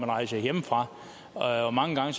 rejste hjemmefra og mange gange